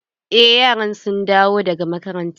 Eh yaran sun dawo daga makaranta.